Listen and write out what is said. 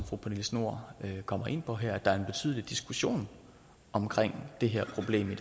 fru pernille schnoor kommer ind på her at der er en betydelig diskussion omkring det her problem i